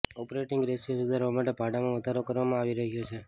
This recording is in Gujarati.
ઓપરેટિંગ રેશિયો સુધારવા માટે ભાડામાં વધારો કરવામાં આવી રહ્યો છે